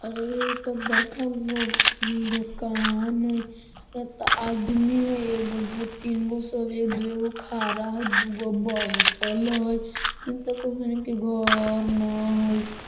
अरे इ त बरकागो दुकान हई एत आदमी हई एगो दुगो तीनगो सबे दुएगो खारा हई दुगो बाइठल हैइ एन त घर न हई।